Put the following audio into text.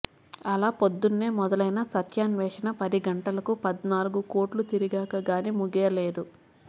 అలా పొద్దున్నే మొదలైన సత్యాన్వేషణ పది గంటలకు పద్నాలుగు కొట్లు తిరిగాక గానీ ముగియలేదు